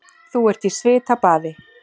Þú ert í svitabaði.